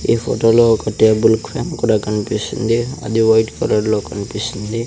ఈ ఫోటో లో ఒక టేబుల్ ఫ్యాన్ కూడా కనిపిస్తుంది అది వైట్ కలర్ లో కనిపిస్తుంది.